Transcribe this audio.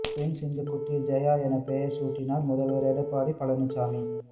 பெண் சிங்கக் குட்டிக்கு ஜெயா என பெயர் சூட்டினார் முதல்வர் எடப்பாடி பழனிச்சாமி